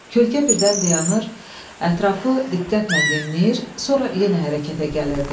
Kölkə birdən dayanır, ətrafı diqqətlə dinləyir, sonra yenə hərəkətə gəlirdi.